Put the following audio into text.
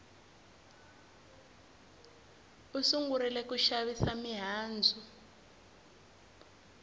u sungurile ku xavisa mihandzu